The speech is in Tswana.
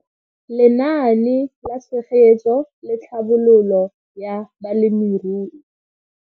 Lenaane la Tshegetso le Tlhabololo ya Balemirui.